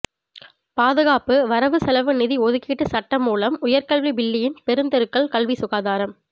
பாதுகாப்பு வரவு செலவு நிதி ஒதுக்கீட்டு சட்டமூலம் உயர்கல்வி பில்லியன் பெருந்தெருக்கள் கல்வி சுகாதாரம்